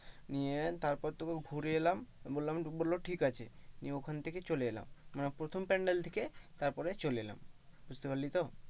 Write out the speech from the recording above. Near তারপর তো ঘুরে এলাম বললাম বললো ঠিক আছে নিয়ে ওখান থেকে চলে এলাম, মানে প্রথম প্যান্ডেল থেকে তারপরে চলে এলাম বুঝতে পারলি তো?